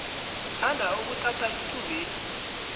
ngithanda ukuthatha ithubeli